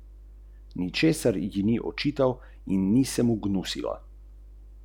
Ker preseda drugi strani.